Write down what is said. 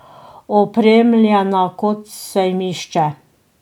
Opremljena kot sejmišče.